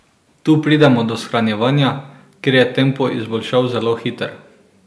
Tu pridemo do shranjevanja, kjer je tempo izboljšav zelo hiter.